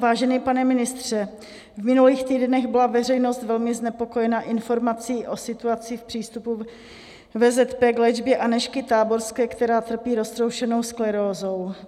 Vážený pane ministře, v minulých týdnech byla veřejnost velmi znepokojena informací o situaci k přístupu VZP k léčbě Anežky Táborské, která trpí roztroušenou sklerózou.